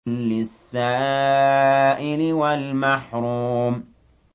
لِّلسَّائِلِ وَالْمَحْرُومِ